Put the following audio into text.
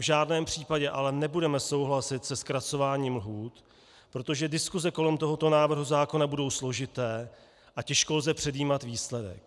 V žádném případě ale nebudeme souhlasit se zkracováním lhůt, protože diskuse kolem tohoto návrhu zákona budou složité a těžko lze předjímat výsledek.